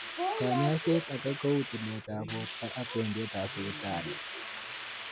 Kanyoiset ake kou tiletab borto ak wendietab sipitali